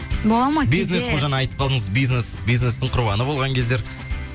бизнес қой жаңа айтып қалдыңыз бизнес бизнестің құрбаны болған кездер